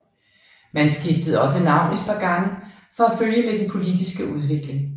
Man skiftede også navn et par gange for at følge med den politiske udvikling